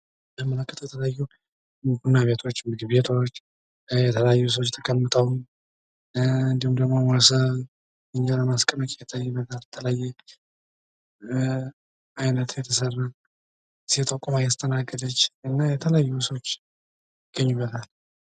እንደምንመለከተው የተለያዩ ቡና ቤቶች፣ ምግብ ቤቶች እና የተለያዩ ሰዎች ተቀምጠው እንዲሁም ደግሞ ሞሰብ እንጀራ ማስቀመጫ ይታይበታል። የተለያየ አይነት የተሰራ፣ ሴቷ ቆማ እያስተናገደች እና የተለያዩ ሰዎች ይገኙበታል።